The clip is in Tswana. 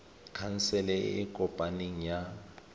khansele e e kopaneng ya